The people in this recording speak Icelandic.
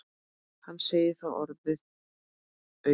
Hann segir það orðum aukið.